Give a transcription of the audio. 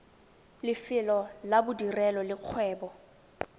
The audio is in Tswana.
lefelo la bodirelo le kgwebo